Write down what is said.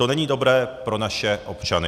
To není dobré pro naše občany.